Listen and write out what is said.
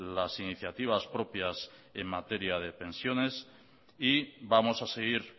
las iniciativas propias en materia de pensiones y vamos a seguir